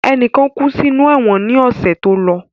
Enikan kú sí inú ẹ̀wọ̀n ni ọ̀sẹ̀ tó lọ